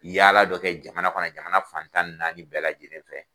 Yaalala dɔ kɛ jamana kɔnɔ jamana fan tan ni naani bɛɛ lajɛlen fɛ.